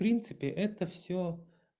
в принципе это всё